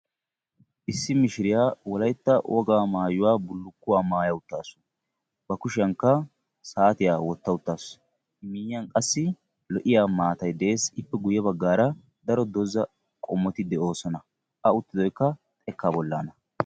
Issi mishiriya wolayitta wogaa mayuwa bullukkuwa maya uttaasu. Bakushiyankka saatiya wotta uttaasu . lo'iya maatay de'es. Ippe guyye baggaara daro doza qommoti de'oosona. A uttidoyikka xekkaa bollaana.